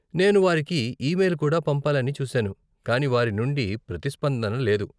నేను వారికి ఈమెయిల్ కుడా పంపాలని చూసాను కానీ వారి నుండి ప్రతిస్పందన లేదు.